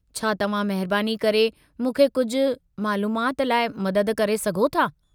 छा तव्हां महिरबानी करे मूंखे कुझु मालूमाति लाइ मदद करे सघो था?